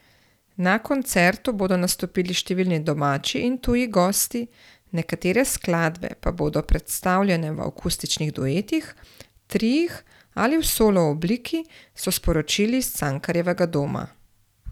Na koncertu bodo nastopili številni domači in tuji gosti, nekatere skladbe pa bodo predstavljene v akustičnih duetih, triih ali v solo obliki, so sporočili iz Cankarjevega doma.